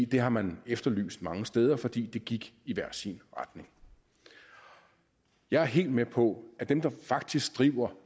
det har man efterlyst mange steder fordi det gik i hver sin retning jeg er helt med på at dem der faktisk driver